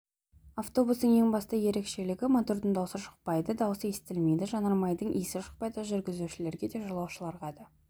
автобустың ең басты ерекшелігі мотордың дауысы шықпайды дауысы естілмейді жанармайдың иісі шықпайды жүргізушілерге де жолаушыларға да